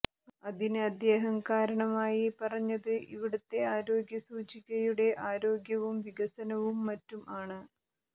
അതിന് അദ്ദേഹം കാരണമായി പറഞ്ഞത് ഇവിടത്തെ ആരോഗ്യസൂചികയുടെ ആരോഗ്യവും വികസനവും മറ്റും ആണ്